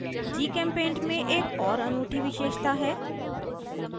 gchempaint में एक और अनूठी विशेषता है